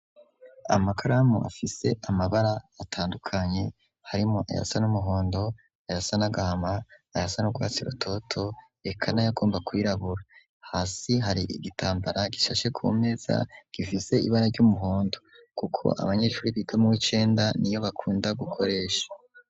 Amakaramu, afise amabara atandukanye, harimwo ayasana n'umuhondo, ayasa n'agama, ayasa n' urwatsi rutoto, eka n'ayagomba kwirabura; hasi, hari igitambara gishashe kumeza, gifise ibara ry'umuhondo, kuko abanyeshuri, biga mu w'icenda, niyo bakunda, gukoresha.